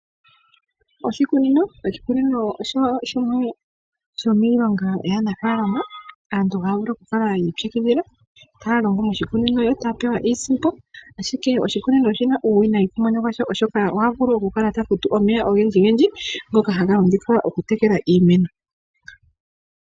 Oshikunino, oshikunino osho shimwe shomiilonga yaanafaalama, aantu haya vulu okukala yi ipyakidhila taya longo moshikunino yo taya pewa iisimpo. Ashike oshi na uuwinayi kumwene gwasho, oshoka oha vulu okukala ta futu omeya ogendjigendji ngono haga longithwa okutekela iimeno.